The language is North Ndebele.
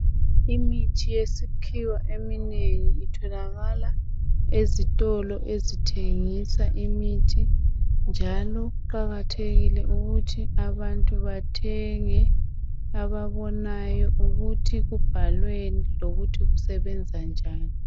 Imithi yesikhiwa eminengi itholakala ezitolo ezithengisa imithi njalo kuqakathekile ukuthi abantu bathenge ababonayo ukuthi kubhalweni lokuthi kusebenza njani.